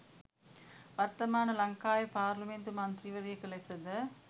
වර්තමාන ලංකාවේ පාර්ලිමේන්තු මන්ත්‍රීවරියක ලෙසද?